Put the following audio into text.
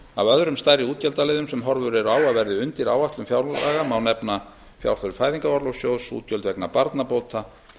af öðrum stærri útgjaldaliðum sem horfur eru á að verði undir áætlun fjárlaga má nefna fjárþörf fæðingarorlofssjóðs útgjöld vegna barnabóta